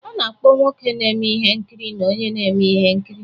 A na-akpọ nwoke na-eme ihe nkiri na onye na-eme ihe nkiri